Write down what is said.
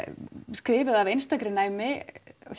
skrifuð af einstakri næmni